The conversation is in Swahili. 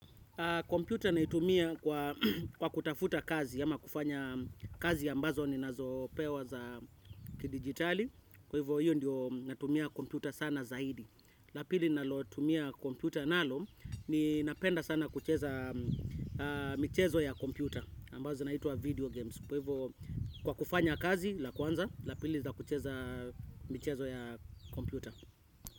Computer naitumia kwa kutafuta kazi ama kufanya kazi ambazo ninazopewa za kidigitali. Kwa hivyo hiyo ndio natumia computer sana zaidi. La pili ninalotumia computer nalo ni napenda sana kucheza michezo ya computer ambazo zinaitwa video games. Kwa hivo kwa kufanya kazi la kwanza la pili za kucheza michezo ya computer.